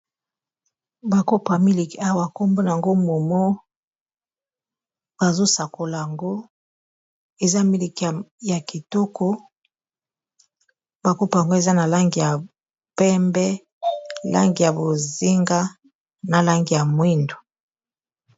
Ba kopo ya milik awa kombona nango momo, bazosakola ngo eza miliki ya kitoko bakopo yango eza na langi ya pembe ,langi ya bozinga, na langi ya mwindu.